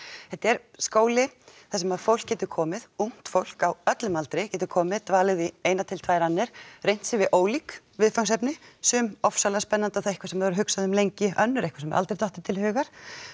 þetta er skóli þar sem að fólk getur komið ungt fólk á öllum aldri getur komið og dvalið í eina til tvær annir reynt við ólík viðfangsefni sum afskaplega spennandi og þá eitthvað sem þau hafa hugsað um lengi önnur eitthvað sem aldrei dottið til hugar